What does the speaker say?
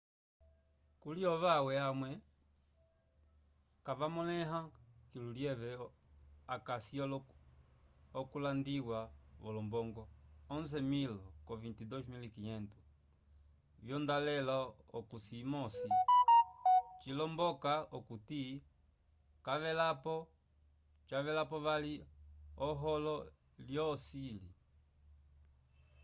kuli ovawe amwe kavamoleya kilo lyeve akasi okulandiwa volombongo 11.000 ko 22.500 vyondolale k'ohosi imosi cilomboloka okuti cavelapo vali oholo lyocili